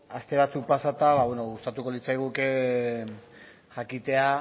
aste batzuk pasata gustatuko litzaiguke jakitea